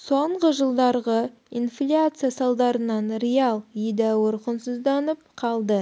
соңғы жылдарғы инфляция салдарынан риал едәуір құнсызданып қалды